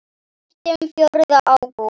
Hættum fjórða ágúst.